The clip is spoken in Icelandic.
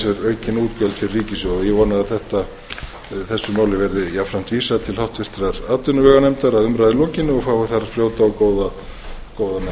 með sér aukin útgjöld fyrir ríkissjóð ég vona að þessu máli verði jafnframt vísað til háttvirtrar atvinnuveganefndar að umræðu lokinni og fái þar fljóta og góða meðferð